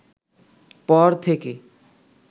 পর থেকে